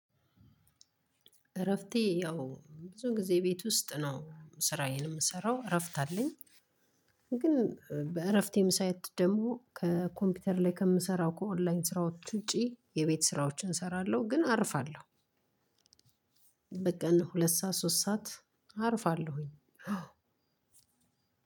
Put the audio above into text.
እረፍቴ ያው ብዙን ጊዜ ቤት ውስጥ ነው ስራዬን የምሰራው እረፍት አለኝ። ግን በእረፍቴም ሰዓት ደግሞ ከኮምፒተር ላይ ከምሰራው ከኦንላይን ስራዎች ውጪ የቤት ስራዎችን ሰራለው ግን አርፋለሁ። በቃ እነ ሁለት ሰዓት ሶስት ሰዓት አርፋለሁ።